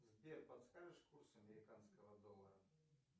сбер подскажешь курс американского доллара